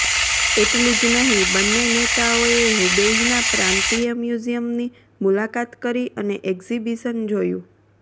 એટલું જ નહીં બંને નેતાઓએ હુબેઇના પ્રાંતીય મ્યુઝિયમની મુલાકાત કરી અને એક્ઝિબિશન જોયું